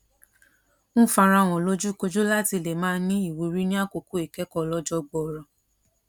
ń fara hàn lójúkojú láti lè máa ní ìwúrí ní àkókò ìkẹkọọ ọlọjọ gbọọrọ